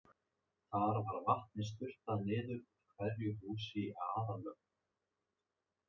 Þar var vatni sturtað niður úr hverju húsi í aðallögn.